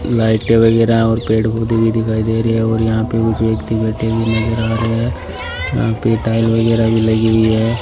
लाइटें वगैरा और पेड़ पौधे भी दिखाई दे रही है और यहां पे मुझे व्यक्ति बैठे हुए नजर आ रहे है यहां पे टाइल वगैरा भी लगी हुई है।